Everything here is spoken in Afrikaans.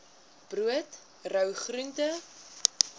brood rou groente